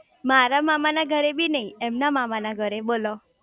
મારા મામા ના ઘરે બી નાઈ એમના મામા ના ઘરે બોલો